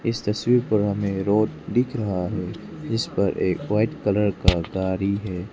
इस तस्वीर पर हमें रोड दिख रहा है जिस पर एक वाइट कलर का गाड़ी है।